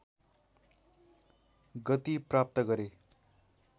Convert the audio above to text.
गति प्राप्त गरे